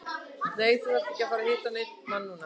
Nei, þú ert ekki að fara að hitta neinn mann núna.